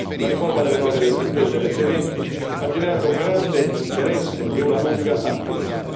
La riforma delle norme del settore delle sementi ha generato grande interesse e una lunga attesa.